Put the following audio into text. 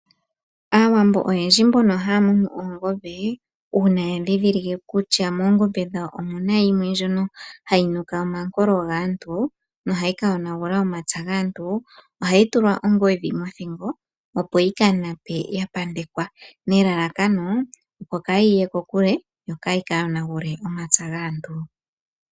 Aawambo oyendji mbono haya munu oongombe, uuna yadhidhilike kutya moongombe dhawo omuna yimwe ndjoka hayi nuka omankolo gaantu nohayi kayonagula omapya gaantu, ohayi tulwa ongodhi mothingo opo yikanape yapandekwa, nelalakano opo kayi ye kokule yo kayi kayonagule omapya gaantu.